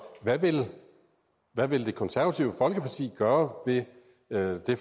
hvad vil det konservative folkeparti gøre ved det